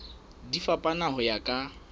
di fapana ho ya ka